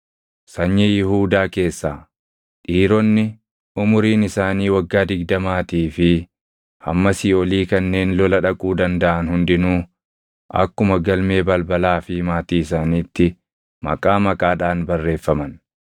Sanyii Yihuudaa keessaa: Dhiironni umuriin isaanii waggaa digdamaatii fi hammasii olii kanneen lola dhaquu dandaʼan hundinuu akkuma galmee balbalaa fi maatii isaaniitti maqaa maqaadhaan barreeffaman.